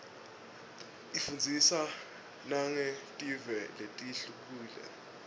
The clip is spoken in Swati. ifundzisa nangetive letihlukile